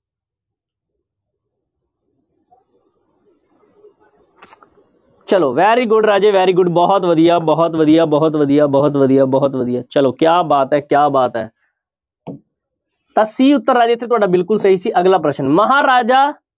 ਚਲੋ very good ਰਾਜੇ very good ਬਹੁਤ ਵਧੀਆ, ਬਹੁਤ ਵਧੀਆ, ਬਹੁਤ ਵਧੀਆ, ਬਹੁਤ ਵਧੀਆ, ਬਹੁਤ ਵਧੀਆ ਚਲੋ ਕਿਆ ਬਾਤ ਹੈ ਕਿਆ ਬਾਤ ਹੈ ਤਾਂ c ਉੱਤਰ ਰਾਜੇ ਇੱਥੇ ਤੁਹਾਡੇ ਬਿਲਕੁਲ ਸਹੀ ਸੀ ਅਗਲਾ ਪ੍ਰਸ਼ਨ ਮਹਾਰਾਜਾ